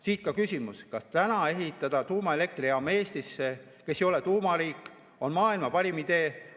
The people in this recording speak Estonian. Siit ka küsimus: kas ehitada tuumaelektrijaam Eestisse, mis ei ole tuumariik, on maailma parim idee?